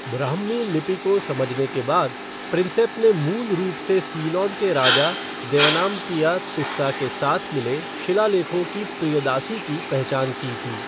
ब्राह्मी लिपि को समझने के बाद, प्रिंसेप ने मूल रूप से सीलोन के राजा देवनमपिया तिस्सा के साथ मिले शिलालेखों की 'प्रियदासी' की पहचान की थी।